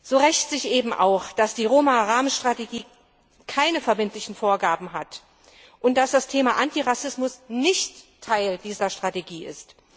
So rächt sich eben auch, dass die Roma Rahmenstrategie keine verbindlichen Vorgaben macht und dass das Thema Antirassismus nicht Teil dieser Strategie ist.